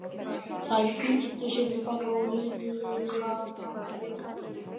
Þær flýttu sér til baka og Lilla náði gatinu.